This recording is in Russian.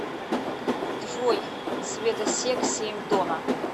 джой светосек семь дона